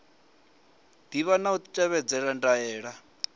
ḓivha na u tevhedzela ndaela